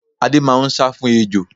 Adé máá ń sá fún ejò